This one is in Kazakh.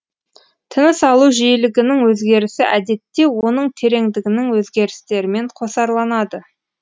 тыныс алу жиілігінің өзгерісі әдетте оның тереңдігінің өзгерістерімен қосарланады